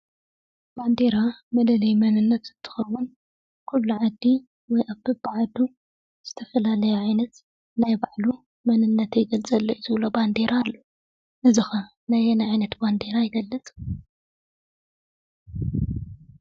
ባንዴራ መለለዪ መንንት እንትኸውን ኩሉ ዓዲ ኣብ በብ ዓዱ ዝተፈላለየ ዓይነት ናይ ባዕሉ መንነተይ ይገልፀለይ እዩ ዝብሎ ባንዴራ ኣለዎ፡፡ እዚ ኸ ናይ ኣየናይ ዓይነት ባንዴራ ይገልፅ?